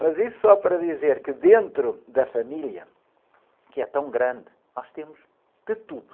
Mas isso só para dizer que dentro da família, que é tão grande, nós temos de tudo.